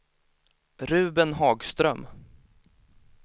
Ruben Hagström